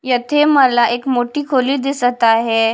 येथे मला एक मोठी खोली दिसत आहे.